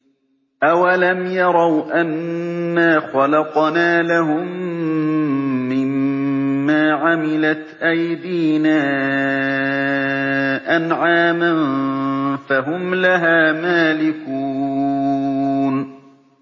أَوَلَمْ يَرَوْا أَنَّا خَلَقْنَا لَهُم مِّمَّا عَمِلَتْ أَيْدِينَا أَنْعَامًا فَهُمْ لَهَا مَالِكُونَ